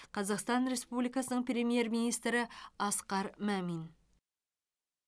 қазақстан республикасының премьер министрі асқар мамин